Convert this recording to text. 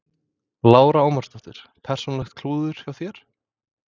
Lára Ómarsdóttir: Persónulegt klúður hjá þér?